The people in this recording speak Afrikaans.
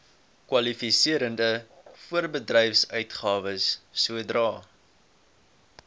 kwalifiserende voorbedryfsuitgawes sodra